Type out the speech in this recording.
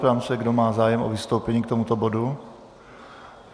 Ptám se, kdo má zájem o vystoupení k tomuto bodu.